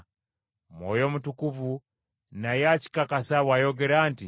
Mwoyo Mutukuvu naye akikakasa bw’ayogera nti,